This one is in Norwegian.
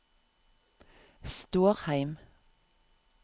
Stårheim